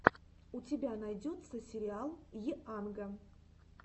у тебя найдется сериал йанга